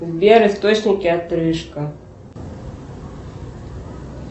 сбер источники отрыжка